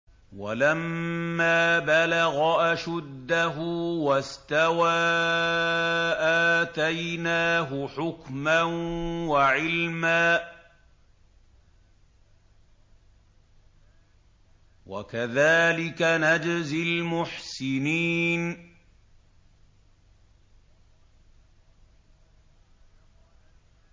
وَلَمَّا بَلَغَ أَشُدَّهُ وَاسْتَوَىٰ آتَيْنَاهُ حُكْمًا وَعِلْمًا ۚ وَكَذَٰلِكَ نَجْزِي الْمُحْسِنِينَ